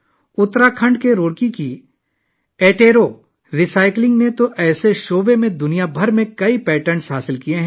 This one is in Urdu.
اتراکھنڈ کے روڑکی میں اٹیرو ری سائیکلنگ نے دنیا بھر میں اس شعبے میں کئی پیٹنٹ حاصل کیے ہیں